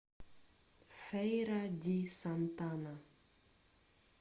фейра ди сантана